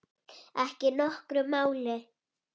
Ekki nokkru máli.